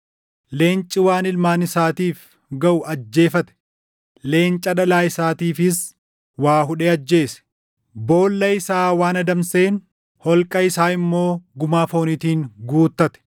Leenci waan ilmaan isaatiif gaʼu ajjeefate; leenca dhalaa isaatiifis waa hudhee ajjeese; boolla isaa waan adamseen, holqa isaa immoo gumaa fooniitiin guuttate.